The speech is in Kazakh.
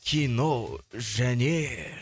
кино және